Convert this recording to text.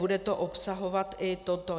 Bude to obsahovat i toto.